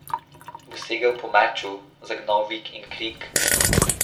Bo segel po meču, zagnal vik in krik?